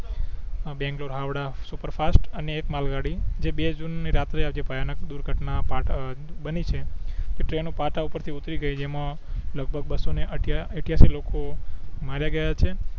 Bangalore Howrah superfast અને એક માલ ગાડી જે બે જૂન ની રાત્રે આ જે ભયાનક દુર્ઘટના પા અ બની છે તે ટ્રેનો પાટા પર થી ઉતરી ગઈ એમાં લગભગ બસો ને અઠયા ઈઠીયાસી લોકો માર્યા ગયા છે